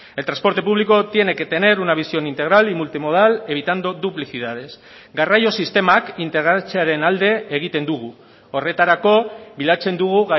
el transporte público tiene que tener una visión integral y multimodal evitando duplicidades garraio sistemak integratzearen alde egiten dugu horretarako bilatzen dugu